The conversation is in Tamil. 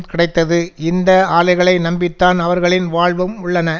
கிடைத்தது இந்த ஆலைகளை நம்பி தான் அவர்களின் வாழ்வும் உள்ளன